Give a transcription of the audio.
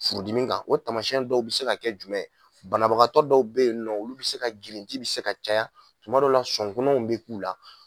Furudimi kan o tamasiyɛn dɔw bɛ se ka kɛ jumɛn ye, banabagatɔ dɔw bɛ yen olu bɛ se ka girinti ji bɛ se ka caya, tuma dɔw la, sɔnkunanaw bɛ k'u la.